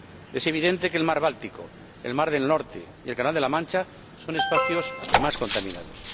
Es evidente que el mar Báltico, el mar del Norte y el Canal de la Mancha son espacios más contaminados.